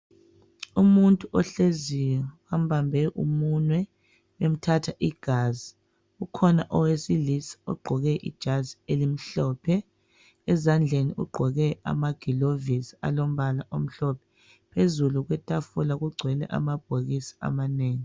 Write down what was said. Umuntu ohleziyo bambambe umunwe emthatha igazi. Kukhona owesilisa ogqoke ijazi elimhlophe, ezandleni ugqoke amagilovisi alombala omhlophe. Phezulu kwetafula kugcwele amabhokisi amanengi.